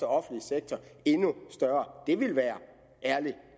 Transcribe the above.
offentlige sektor endnu større det ville være ærlig